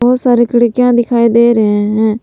बहुत सारे खिड़कियां दिखाई दे रहे हैं।